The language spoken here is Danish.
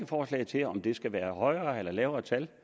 forslag til om det skal være et højere eller lavere tal